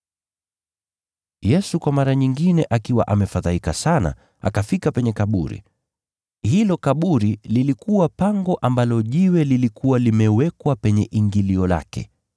Yesu kwa mara nyingine akiwa amefadhaika sana, akafika penye kaburi. Hilo kaburi lilikuwa pango ambalo jiwe lilikuwa limewekwa kwenye ingilio lake.